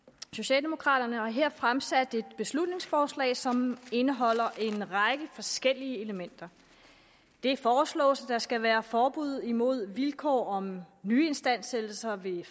socialdemokraterne har her fremsat et beslutningsforslag som indeholder en række forskellige elementer det foreslås at der skal være forbud imod vilkår om nyistandsættelser ved